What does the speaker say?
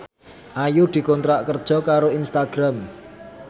Ayu dikontrak kerja karo Instagram